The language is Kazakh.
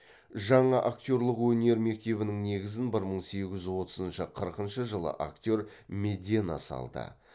жаңа актерлік өнер мектебінің негізін бір мың сегіз жүз отызыншы қырқыншы жылы актер медена салды